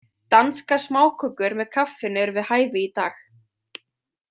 Danskar smákökur með kaffinu eru við hæfi í dag.